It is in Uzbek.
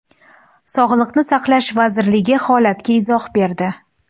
Sog‘liqni saqlash vazirligi holatga izoh berdi.